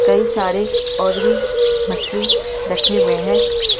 कई सारे और भी मछली रखे हुए है।